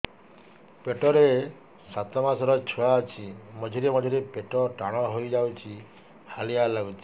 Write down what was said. ପେଟ ରେ ସାତମାସର ଛୁଆ ଅଛି ମଝିରେ ମଝିରେ ପେଟ ଟାଣ ହେଇଯାଉଚି ହାଲିଆ ଲାଗୁଚି